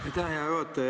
Aitäh, hea juhataja!